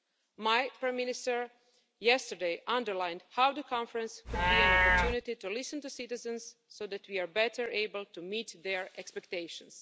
Yesterday, my Prime Minister underlined how the Conference could be an opportunity to listen to citizens so that we are better able to meet their expectations.